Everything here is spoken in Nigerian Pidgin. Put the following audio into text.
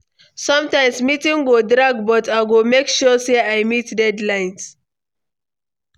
Sometimes, meeting go drag but I go make sure say I meet deadline.